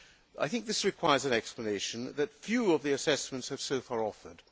I think this requires an explanation that few of the assessments have so far offered.